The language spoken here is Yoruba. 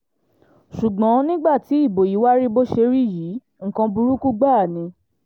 ṣùgbọ́n nígbà tí ibo yí wàá rí bó ṣe rí yìí nǹkan burúkú gbáà ni